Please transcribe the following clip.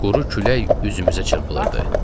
Quru külək üzümüzə çırpılırdı.